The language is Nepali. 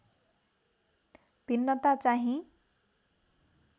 भिन्नता चाहिँ